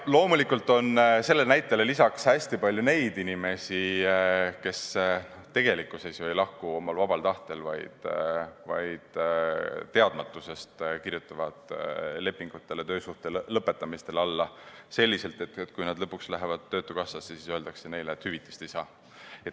Loomulikult on sellele näitele lisaks hästi palju neid inimesi, kes tegelikkuses ei lahku omal vabal tahtel, vaid kirjutavad teadmatusest töösuhte lõpetamise lepingule alla selliselt, et kui nad lõpuks lähevad Töötukassasse, siis öeldakse neile, et hüvitist nad ei saa.